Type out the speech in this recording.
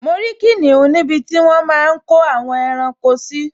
Mo rí kìnìún níbi tí wọ́n máa n kó àwọn ẹranko sí